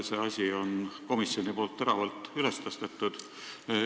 Komisjon on selle teema teravalt üles tõstnud.